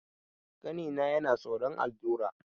Ƙanina yana tsoron allura.